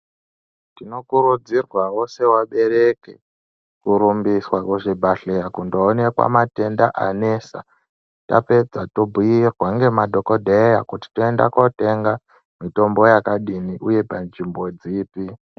Tinokurudzirwavo sevabereki korumbiswa kuzvibhedhleya kundoonekwa matenda anesa. Tapedza tombuirwa ngemadhogodheya kuti toenda kotenga mitombo yakadini, uye panzvimbo dzipi.